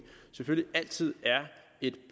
selvfølgelig altid er et